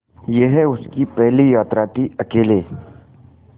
यह उसकी पहली यात्रा थीअकेले